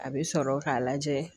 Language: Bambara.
A bɛ sɔrɔ k'a lajɛ